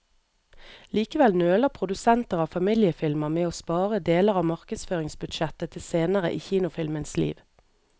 Likevel nøler produsenter av familiefilmer med å spare deler av markedsføringsbudsjettet til senere i kinofilmens liv.